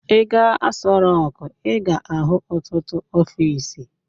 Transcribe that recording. Ị gaa Aso Rọk, ị ga-ahụ ọtụtụ ọfiisi.